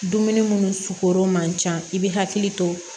Dumuni munnu sukurun man ca i bɛ hakili to